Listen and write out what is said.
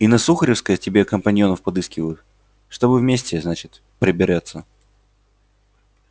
и на сухаревской себе компаньонов подыскивают чтобы вместе значит пробираться